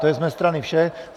To je z mé strany vše.